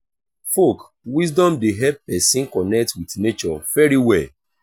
folk wisdom de help persin connect with nature very well